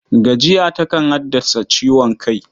Gajiya takan haddasa ciwon kai.